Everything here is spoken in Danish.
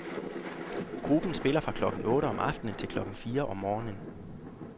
Gruppen spiller fra klokken otte om aftenen til klokken fire om morgenen.